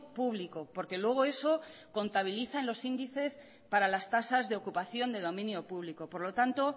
público porque luego eso contabiliza en los índices para las tasas de ocupación de dominio público por lo tanto